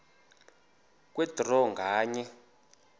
kwe draw nganye